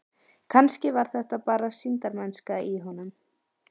Kannski var þetta bara sýndarmennska í honum.